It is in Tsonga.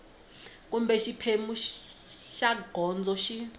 kumbe xiphemu xa gondzo xi